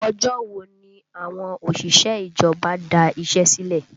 Ọjọ́ wo ni àwọn òṣìṣẹ́ ìjọba da iṣẹ́ sílẹ̀?